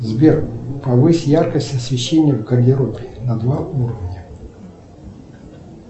сбер повысь яркость освещения в гардеробе на два уровня